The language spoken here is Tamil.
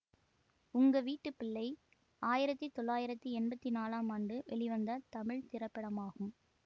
உங்க வீட்டு பிள்ளை ஆயிரத்தி தொள்ளாயிரத்தி எம்பத்தி நாலாம் ஆண்டு வெளிவந்த தமிழ் திரைப்படமாகும்